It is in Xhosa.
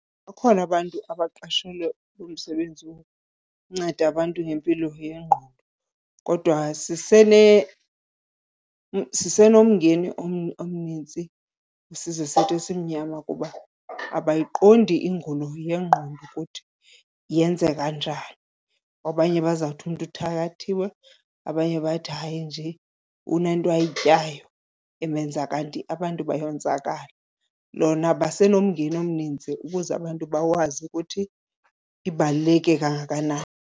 Bakhona abantu abaqeshelwe umsebenzi wokunceda abantu ngempilo yengqondo kodwa sisenomngeni omnintsi isizwe sethu esimnyama kuba abayiqondi ingulo yengqondo ukuthi yenzeka njani. Abanye bazawuthi umntu uthakathiwe, abanye bathi hayi nje unento ayityayo emenza kanti abantu bayonzakala. Lona basenomngeni omninzi ukuze abantu bakwazi ukuthi ibaluleke kangakanani.